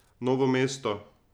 Novo mesto.